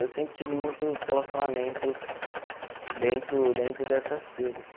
Eu sempre tive muitos relacionamentos dentro dentro dessas feiras.